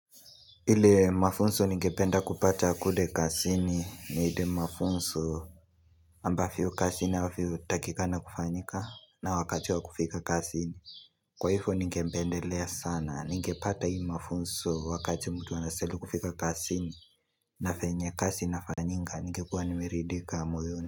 Ile mafunzo nigependa kupata kule kazini ni ile mafunzo ambavyo kazi inavyo takikana kufanyika na wakati wa kufika kazini. Kwa hivyo nigependelea sana, nigepata hii mafunzo wakati mtu anastahili kufika kazini na vyenye kazi inafanyika ningekuwa nimeridhika moyoni.